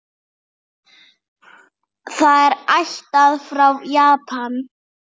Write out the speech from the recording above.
Það er ættað frá Japan.